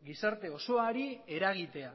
gizarte osoari eragitea